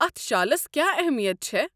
اتھ شالس کیٛاہ اہمیت چھےٚ؟